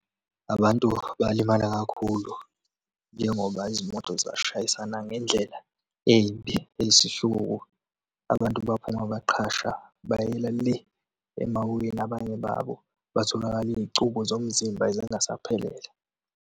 Abantu balimala kakhulu njengoba izimoto zashayisana ngendlela embi, eyisihluku, abantu baphuma baqhasha bayela le emaweni. Abanye babo batholakala iy'cubu zomzimba zingasaphelele.